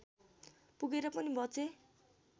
पुगेर पनि बचे